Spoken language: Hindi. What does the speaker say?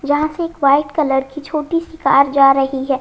जहां से एक वाइट कलर की छोटी सी कार जा रही है।